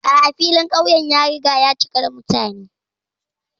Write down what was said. A'a, filin ƙauyen ya riga ya cika da mutane.